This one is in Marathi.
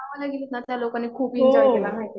गावाला गेली ना, त्या लोकांनी खूप एन्जॉय केला.